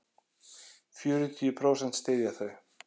Fjörutíu prósent styðja þau.